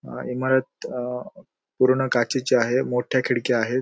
अअ इमारत पूर्ण काचेची आहे मोठ्या खिडक्या आहेत.